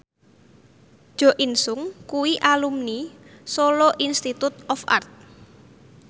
Jo In Sung kuwi alumni Solo Institute of Art